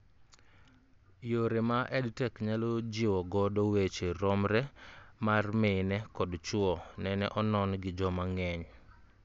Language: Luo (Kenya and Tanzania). Yore ma EdTech nyalo jiwo godo weche romre mar mine kod chuo nene onon gi joma ng'eny